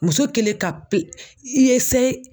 Muso kelen ka pe